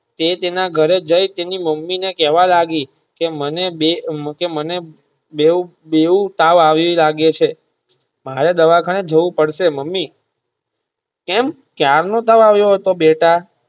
તે તેના ઘરે જય તેની મમ્મી ને કહેવા લાગી કે મને બે મૂકે મને બેવ~બેવ તાવ આવીયો લાગે છે હવે દવાખાને જવું પડશે મમ્મી કેમ ક્યારે નો તાવ આવીયો હતો બેટા.